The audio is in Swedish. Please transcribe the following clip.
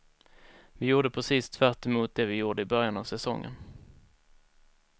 Vi gjorde precis tvärtemot det vi gjorde i början av säsongen.